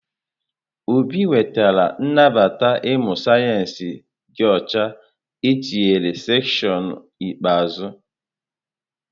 Obi nwetara nnabata ịmụ sayensị dị ọcha etinyere seshịonụ ikpeazụ.